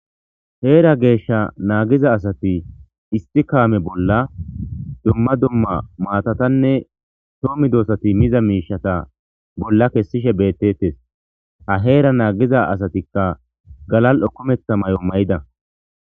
Heera geeshsha naagiza asati istikaame bolla dumma dumma maatatanne toomi doosati miza miishata bolla kessishe bettettes ha heera naagiza asatikka galal'okomethta may'o mayida.